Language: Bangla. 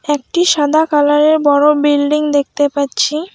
একটি সাদা কালারের বড় বিল্ডিং দেখতে পাচ্ছি।